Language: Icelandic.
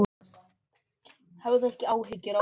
Hafðu ekki áhyggjur af því, mamma mín.